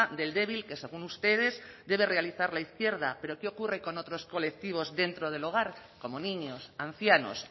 del débil que según ustedes debe realizar la izquierda pero qué ocurre con otros colectivos dentro del hogar como niños ancianos